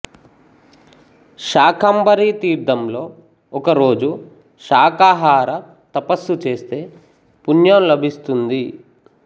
శాకంబరీ తీర్థంలో ఒకరోజు శాకాహార తపస్సు చేస్తే పణ్యం లభిస్తుంది